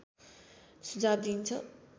सुझाव दिइन्छ